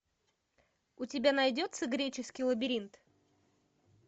у тебя найдется греческий лабиринт